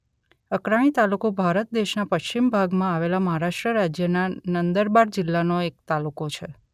અકરાણી તાલુકો ભારત દેશના પશ્ચિમ ભાગમાં આવેલા મહારાષ્ટ્ર રાજ્યના નંદરબાર જિલ્લાનો એક તાલુકો છે